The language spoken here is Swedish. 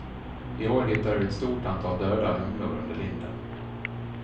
I år hittade vi ett stort antal döda humlor under linden.